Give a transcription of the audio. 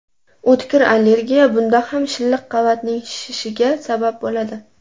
O‘tkir allergiya Bunda ham shilliq qavatning shishi sabab bo‘ladi.